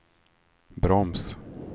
broms